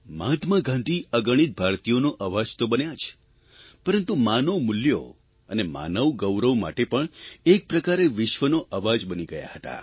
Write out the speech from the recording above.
મહાત્મા ગાંધી અગણિત ભારતીયોનો અવાજ તો બન્યા જ પરંતુ માનવમૂલ્યો અને માનવગૌરવ માટે પણ એક પ્રકારે વિશ્વનો અવાજ બની ગયા હતા